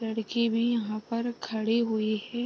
लड़की भी यहाँ पर खड़ी हुई है।